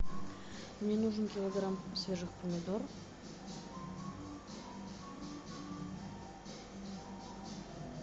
мне нужен килограмм свежих помидор